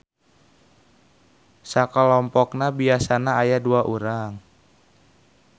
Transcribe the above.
Sakalompokna biasana aya dua urang.